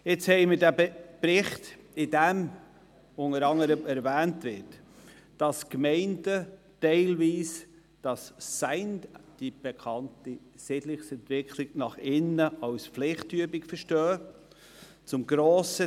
Im Bericht wird erwähnt, dass die Gemeinden teilweise diese Siedlungsentwicklung nach innen als Pflichtübung verstehen.